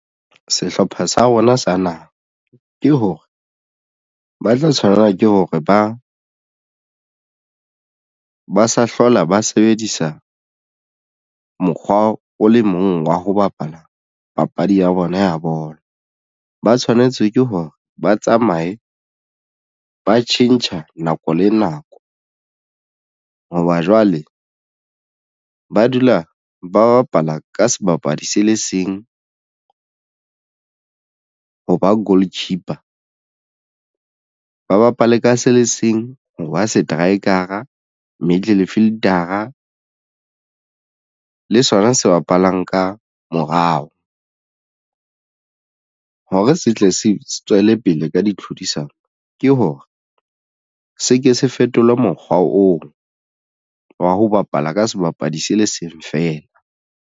Sehlopha sa rona sa naha ke hore ba tla tshwanela ke hore ba sa hlola ba sebedisa mokgwa o le mong wa ho bapala papadi ya bona ya bolo. Ba tshwanetse ke hore ba tsamaye ba tjhentjha nako le nako hoba jwale ba dula ba bapala ka sebapadi se le seng ho ba goal keeper ba bapale ka se le seng ho ba seteraekara middle fielder-a le sona se bapalang ka morao, hore se tle se tswele pele ka di tlhodisano ke hore se ke se fetola mokgwa oo wa ho bapala ka sebapadi se le seng feela.